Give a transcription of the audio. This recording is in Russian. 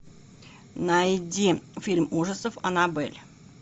найди фильм ужасов анабель